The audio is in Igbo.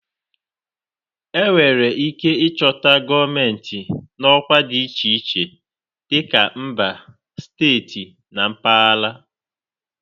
Enwere ike ịchọta gọọmentị n'ọkwa dị iche iche, dịka mba, steeti na mpaghara